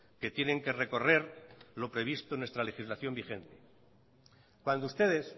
que tienen que recorrer lo previsto en nuestra legislación vigente cuando ustedes